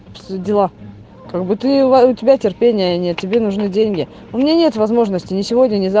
пс дела как будто у ва у тебя терпения нет тебе нужны деньги у меня нет возможности ни сегодня ни за